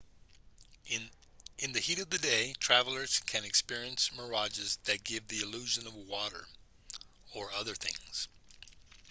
in the heat of the day travelers can experience mirages that give the illusion of water or other things